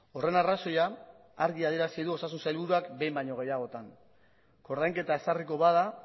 horren arrazoia argi adierazi du osasun sailburuak behin baino gehiagotan koordainketa ezarriko bada